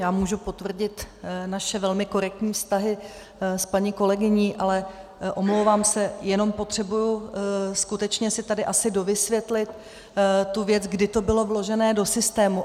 Já můžu potvrdit naše velmi korektní vztahy s paní kolegyní, ale omlouvám se, jenom potřebuji skutečně si tady asi dovysvětlit tu věc, kdy to bylo vložené do systému.